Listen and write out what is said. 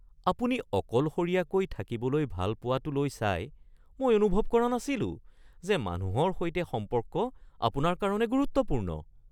আপুনি অকলশৰীয়াকৈ থাকিবলৈ ভাল পোৱাটোলৈ চাই মই অনুভৱ কৰা নাছিলোঁ যে মানুহৰ সৈতে সম্পৰ্ক আপোনাৰ কাৰণে গুৰুত্বপূৰ্ণ।